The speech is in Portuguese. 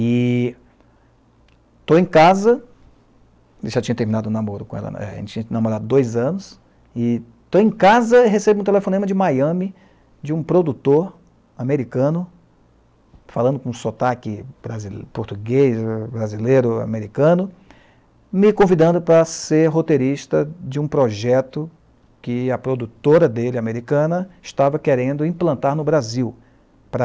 E estou em casa, ele já tinha terminado o namoro com ela, a gente tinha namorado dois anos, e estou em casa e recebo um telefonema de Miami, de um produtor americano, falando com sotaque brasi, português, brasileiro, americano, me convidando para ser roteirista de um projeto que a produtora dele, americana, estava querendo implantar no Brasil para